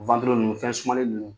nunnu , fɛn sumalen nunnu don.